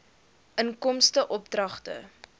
inkomste oordragte